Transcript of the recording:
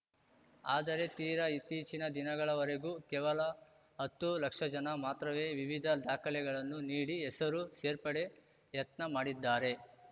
ಆದರೆ ತೀರಾ ಇತ್ತೀಚಿನ ದಿನಗಳವರೆಗೂ ಕೇವಲ ಹತ್ತು ಲಕ್ಷ ಜನ ಮಾತ್ರವೇ ವಿವಿಧ ದಾಖಲೆಗಳನ್ನು ನೀಡಿ ಹೆಸರು ಸೇರ್ಪಡೆ ಯತ್ನ ಮಾಡಿದ್ದಾರೆ